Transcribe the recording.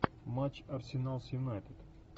матч арсенал с юнайтед